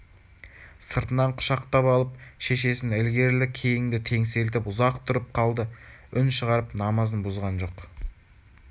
сыртынан құшақтап алып шешесін ілгерілі-кейінді теңселтіп ұзақ тұрып қалды үн шығарып намазын бұзған жоқ